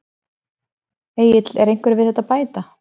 Egill er einhverju við þetta að bæta?